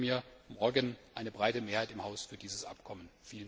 Ich wünsche mir morgen eine breite Mehrheit im Haus für dieses Abkommen.